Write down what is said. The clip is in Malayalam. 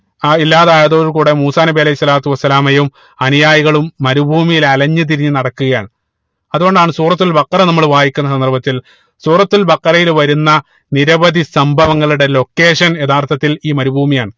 ആഹ് ഇല്ലാതായതോട് കൂടെ മൂസാ നബി അലൈഹി സ്വലാത്തു വസ്സലാമയും അനുയായികളും മരുഭൂമിയിൽ അലഞ്ഞു തിരിഞ്ഞു നടക്കുകയാണ് അതുകൊണ്ടാണ് സൂറത്തുൽ ബഖറ നമ്മള് വായിക്കുന്ന സന്ദർഭത്തിൽ സൂറത്തുൽ ബഖറയിൽ വരുന്ന നിരവധി സംഭവങ്ങളുടെ Location യഥാർത്ഥത്തിൽ ഈ മരുഭൂമിയാണ്